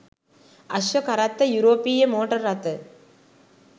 අශ්ව කරත්ත යුරෝපීය මෝටර් රථ